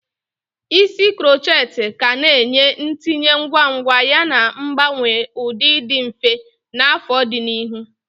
Isi krokhet ka ga-enye ntinye ngwa ngwa yana mgbanwe ụdị dị mfe na afo di n'ihu.